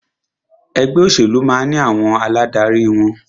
Ẹgbẹ́ òṣèlú máà ní àwọn aládarí wọn.